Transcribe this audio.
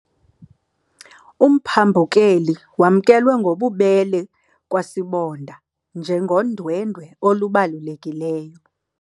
Umphambukeli wamkelwe ngobubele kwasibonda njengondwendwe olubalulekileyo.